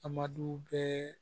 Amadu bɛɛ